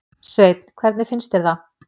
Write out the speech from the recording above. Sveinn: Hvernig finnst þér það?